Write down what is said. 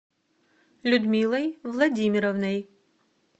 людмилой владимировной